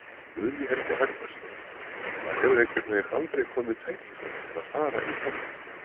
Guðný Helga Herbertsdóttir: Það hefur einhvern veginn aldrei komið tækifæri til að fara í þennan?